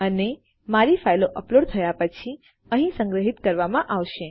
અને મારી ફાઈલો અપલોડ થયા પછી અહી સંગ્રહિત કરવામાં આવશે